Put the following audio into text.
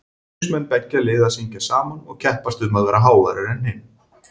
Stuðningsmenn beggja liða syngja saman og keppast um að vera háværari en hinn.